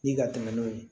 Ni ka tɛmɛ n'o ye